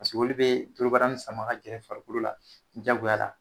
Paseke olu bi dorobara ni sama ka gɛrɛ farikolo la jagoya la